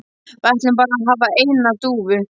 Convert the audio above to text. Við ætlum bara að hafa eina dúfu